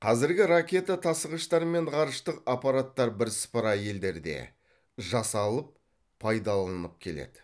қазіргі ракета тасығыштар мен ғарыштық аппараттар бірсыпыра елдерде жасалып пайдаланылып келеді